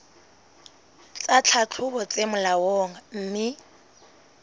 tsa tlhahlobo tse molaong mme